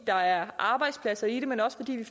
der er arbejdspladser i det men også fordi vi